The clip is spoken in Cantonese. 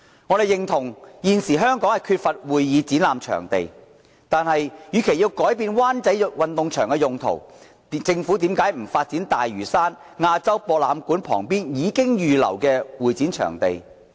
我們認同現時香港缺乏會議展覽場地，但政府與其改變灣仔運動場的用途，何不發展大嶼山亞洲博覽館旁邊已預留的會展場地？